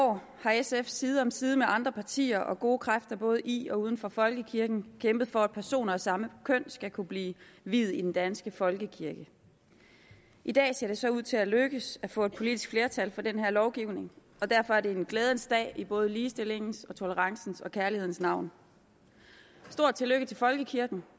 år har sf side om side med andre partier og gode kræfter både i og uden for folkekirken kæmpet for at personer af samme køn skal kunne blive viet i den danske folkekirke i dag ser det så ud til at lykkes at få et politisk flertal for den her lovgivning og derfor er det en glædens dag i både ligestillingens tolerancens og kærlighedens navn et stort tillykke til folkekirken